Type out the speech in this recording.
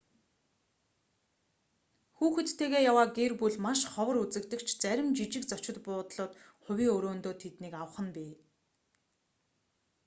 хүүхэдтэйгээ яваа гэр бүл маш ховор үзэгдэх ч зарим жижиг зочид буудлууд хувийн өрөөндөө тэднийг авах нь бий